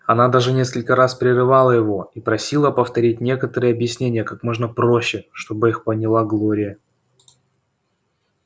она даже несколько раз прерывала его и просила повторить некоторые объяснения как можно проще чтобы их поняла глория